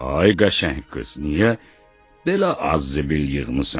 Ay qəşəng qız, niyə belə az zibil yığmısan?